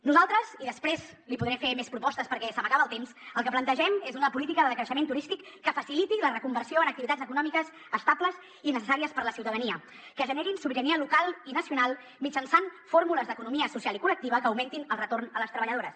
nosaltres i després li podré fer més propostes perquè se m’acaba el temps el que plantegem és una política de decreixement turístic que faciliti la reconversió en activitats econòmiques estables i necessàries per a la ciutadania que generin sobirania local i nacional mitjançant fórmules d’economia social i col·lectiva que augmentin el retorn a les treballadores